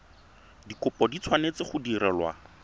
dikopo di tshwanetse go direlwa